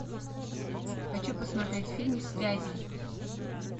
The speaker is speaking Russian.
хочу посмотреть фильм связи